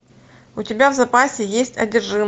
у тебя в запасе есть